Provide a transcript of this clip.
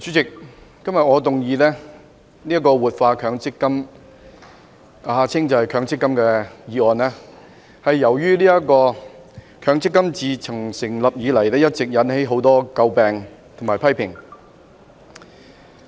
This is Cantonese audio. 主席，今天我動議"活化強制性公積金"的議案，是由於強制性公積金制度自成立以來，一直為人所詬病和引起很多批評。